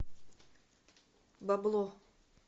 бабло